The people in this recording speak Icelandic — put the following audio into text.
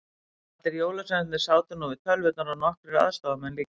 Allir jólasveinarnir sátu nú við tölvurnar og nokkrir aðstoðamenn líka.